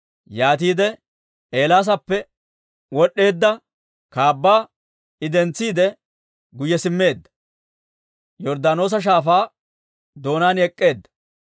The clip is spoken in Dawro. Yaatiide Eelaasappe wod'd'eedda kaabbaa I dentsiide, guyye simmeedda; Yorddaanoosa Shaafaa doonaan ek'k'eedda.